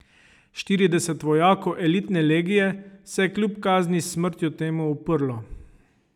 Štirideset vojakov elitne legije se je kljub kazni s smrtjo temu uprlo.